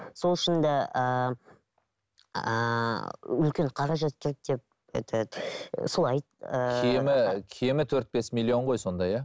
сол үшін де ыыы үлкен қаражат керек деп этот солай ыыы кемі кемі төрт бес миллион ғой сонда иә